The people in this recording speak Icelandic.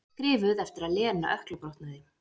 Skrifuð eftir að Lena ökklabrotnaði.